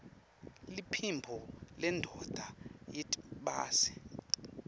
liphimbo lendvodza yiytbase